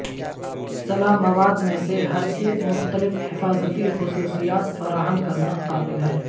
سلاح مواد میں سے ہر ایک مختلف حفاظتی خصوصیات فراہم کرنا قابل ہے